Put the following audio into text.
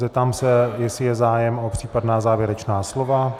Zeptám se, jestli je zájem o případná závěrečná slova.